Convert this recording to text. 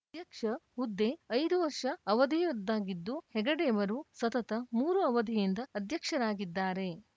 ಅಧ್ಯಕ್ಷ ಹುದ್ದೆ ಐದು ವರ್ಷ ಅವಧಿಯದ್ದಾಗಿದ್ದು ಹೆಗಡೆಯವರು ಸತತ ಮೂರು ಅವಧಿಯಿಂದ ಅಧ್ಯಕ್ಷರಾಗಿದ್ದಾರೆ